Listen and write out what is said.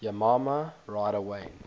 yamaha rider wayne